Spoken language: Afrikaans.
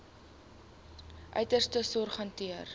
uiterste sorg hanteer